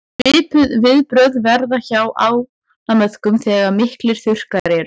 svipuð viðbrögð verða hjá ánamöðkum þegar miklir þurrkar eru